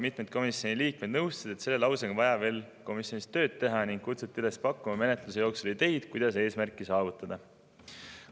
Mitmed komisjoni liikmed nõustusid, et selle lausega on vaja komisjonis veel tööd teha, ning kutsuti üles pakkuma menetluse jooksul ideid, kuidas eesmärki saavutada.